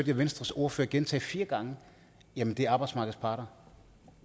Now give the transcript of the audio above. jeg venstres ordfører gentage fire gange jamen det er arbejdsmarkedets parter